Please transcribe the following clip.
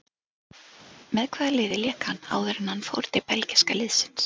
Með hvaða liði lék hann áður en hann fór til belgíska liðsins?